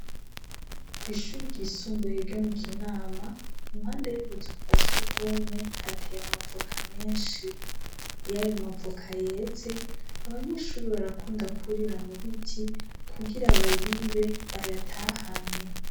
kw' ishuri ry'isumbuye ryo mu Kinama, impande yubuzu bwa surwumwe hateye amavoka menshi. Ayo mavoka iyo yeze, abanyeshuri barakunda kwurira mu biti kugira bayibe bayatahane.